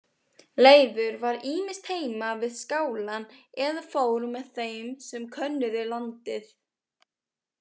Leifur var ýmist heima við skálann eða fór með þeim sem könnuðu landið.